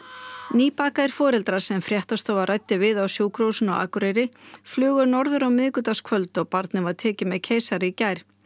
nýbakaðir foreldrar sem fréttastofa ræddi við á Sjúkrahúsinu á Akureyri flugu norður á miðvikudagskvöld og barnið var tekið með keisara í gær